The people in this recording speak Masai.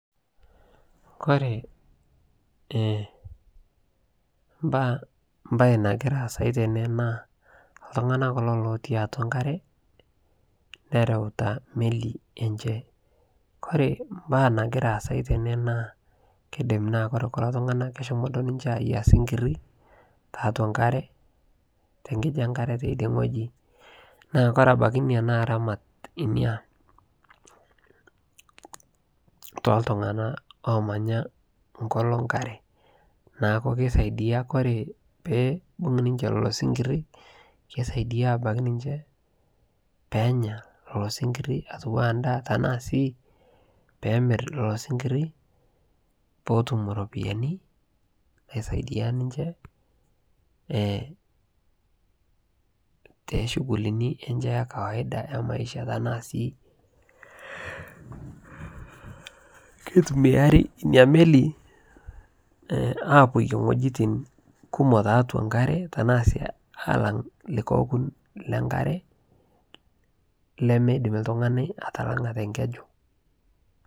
kore mbaa, mbai nagiraa aasai tenee naa ltunganaa kuloo lotii atua nkaree nerautaa melii enchee kore mbaa nagiraa aasai tenee naa keidim naa kore kuloo tunganaa keshomoo duo ninjee aiyaa sinkirii taatua nkaree tenkijii ee teidie nghojii naa kore abakii inia naa ramat inia toltunganaa lomanyaa nkoloo nkaree naaku keisaidia kore peibung ninshee lolo sinkirii keisaidia abakii ninshee peenya lolo sinkirii atuwaa ndaa tanaa sii peemir lolo sinkirii pootum ropiyani naisaidia ninshee te shughulinii enchee ee kawaida emaishaa tanaa sii keitumiarii inia melii apoiyee nghojitin kumoo taatua nkaree tanaa sii alang likai okun le nkaree lemeidim ltunganii atalangaa te nkejuu